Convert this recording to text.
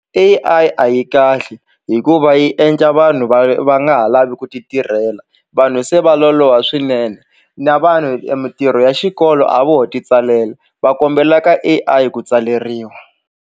A_I a yi kahle hikuva yi endla vanhu va va nga ha lavi ku ti tirhela vanhu se va loloha swinene na vanhu mintirho ya xikolo a voho titsalela va kombela ka A_I ku tsaleriwa.